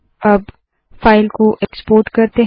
अब फाइल को एक्सपोर्ट करते है